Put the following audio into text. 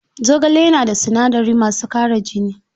Zogale yana da sinadarai masu ƙara jini.